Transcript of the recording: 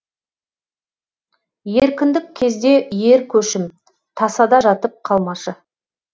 еркіндік кезде ер көшім тасада жатып қалмашы